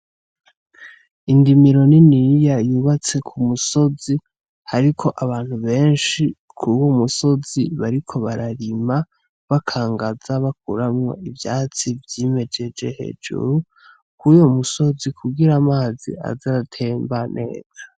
Indimiro niniya yubatse ku musozi ariko abantu benshi kuri iyo musozi bariko bararima, bakangaza bakuramwo ivyatsi vyimejeje hejuru kuri uyo musozi, kugira amazi aze aratemba neza.